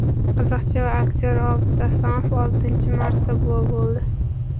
Qiziqchi va aktyor Obid Asomov oltinchi marta buva bo‘ldi.